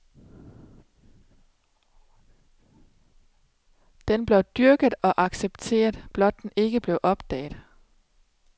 Den blev dyrket og accepteret, blot den ikke blev opdaget.